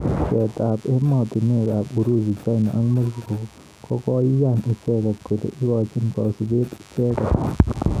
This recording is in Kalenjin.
Pcheet ab emotunwek ab Urusi china ak mexico kokoiyan icheket kole ikochin kasubet icheket.